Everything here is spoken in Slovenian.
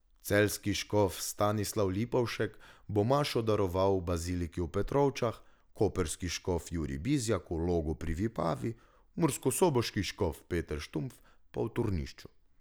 Celjski škof Stanislav Lipovšek bo mašo daroval v baziliki v Petrovčah, koprski škof Jurij Bizjak v Logu pri Vipavi, murskosoboški škof Peter Štumpf pa v Turnišču.